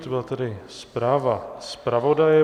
To byla tedy zpráva zpravodaje.